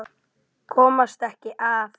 Komast ekki að.